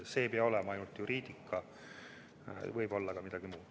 See ei pea olema ainult juriidika, võib olla ka midagi muud.